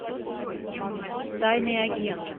тайный агент